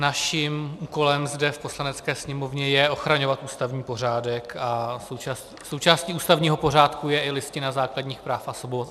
Naším úkolem zde v Poslanecké sněmovně je ochraňovat ústavní pořádek a součástí ústavního pořádku je i Listina základních práv a svobod.